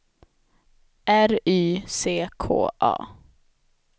R Y C K A